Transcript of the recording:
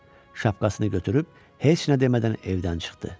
Şapkasını götürüb heç nə demədən evdən çıxdı.